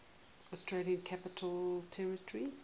australian capital territory